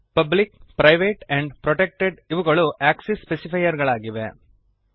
public private and protected ಇವುಗಳು access specifier ಗಳಾಗಿವೆ